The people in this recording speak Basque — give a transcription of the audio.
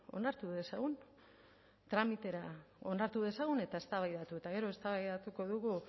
onartu dezagun tramitera onartu dezagun eta eztabaidatu eta gero eztabaidatuko dugu